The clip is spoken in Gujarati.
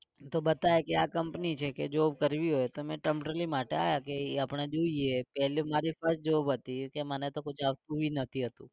તો બતાયે કે આ company છે કે જો કરવી હોય તો માટે આવ્યા કે આપણે જોઈએ. પહેલી મારી first job હતી એ કે મને તો કુછ આવતું ભી નથી આટલું